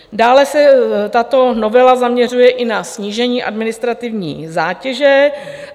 Dále se tato novela zaměřuje i na snížení administrativní zátěže.